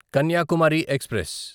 Kanyakumari express